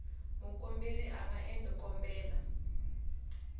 mukomberi a nga endla xikombelo